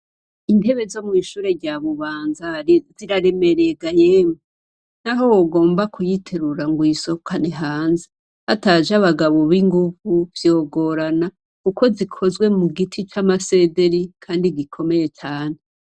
Intebe zo mw'ishure rya Bubanza, ziraremereye ga yemwe, naho wogomba kuyiterura ngo uyisohokane hanze, hataje abagabo b'inguvu vyogorana, kuko zikozwe mu giti c'amasederi, kandi gikomeye cane.